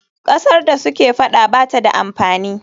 Ƙasar da suke faɗa ba ta da amfani.